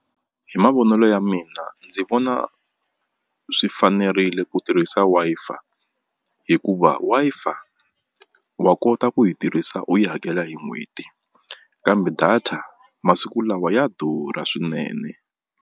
Hi mavonelo ya mina ndzi vona swi fanerile ku tirhisa Wi-Fi hikuva Wi-Fi wa kota ku yi tirhisa u yi hakela hi n'hweti kambe data masiku lawa ya durha swinene.